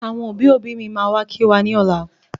Àwọn òbí òbí mí máa wá kí wa ní ọ̀la.